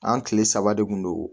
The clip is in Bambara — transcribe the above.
An kile saba de kun don